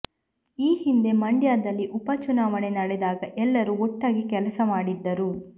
ಈ ಹಿಂದೆ ಮಂಡ್ಯದಲ್ಲಿ ಉಪ ಚುನಾವಣೆ ನಡೆದಾಗ ಎಲ್ಲರೂ ಒಟ್ಟಾಗಿ ಕೆಲಸ ಮಾಡಿದ್ದರು